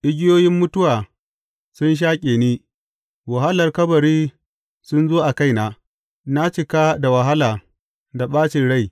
Igiyoyin mutuwa sun shaƙe ni, wahalar kabari sun zo a kaina; na cika da wahala da ɓacin rai.